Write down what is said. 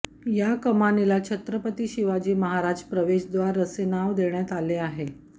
या कमानीला छत्रपती शिवाजी महाराज प्रवेशद्वार असे नाव देण्यात आले आहे